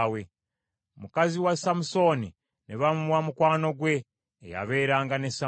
Mukazi wa Samusooni ne bamuwa mukwano gwe, eyabeeranga ne Samusooni.